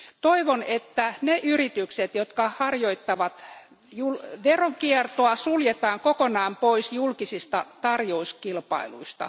Toivon, että ne yritykset, jotka harjoittavat veronkiertoa, suljetaan kokonaan pois julkisista tarjouskilpailuista.